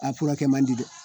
A furakɛ man di dɛ